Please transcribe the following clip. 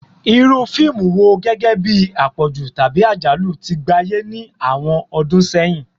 Iru fiimu wo, gẹgẹbi apọju tabi ajalu, ti gbaye ni awọn ọdun sẹyin?